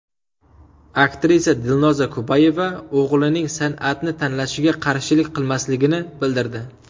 Aktrisa Dilnoza Kubayeva o‘g‘lining san’atni tanlashiga qarshilik qilmasligini bildirdi.